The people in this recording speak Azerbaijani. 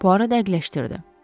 Bu arada dəqiqləşdirdi.